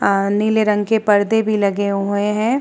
आ नीले रंग के पर्दे भी लगे हुए हैं।